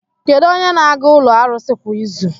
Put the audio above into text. Kedu onye na-aga ụlọ arụsị kwa izu?